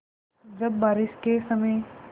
जब बारिश के समय